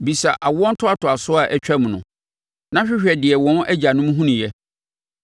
“Bisa awoɔ ntoatoasoɔ a atwam no, na hwehwɛ deɛ wɔn agyanom hunuiɛ.